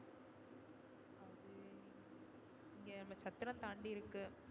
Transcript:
இங்க நம்ம சத்திர தாண்டி இருக்கு.